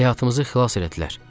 Həyatımızı xilas elətdilər.